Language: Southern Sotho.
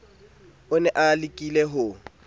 o ne a lekile ho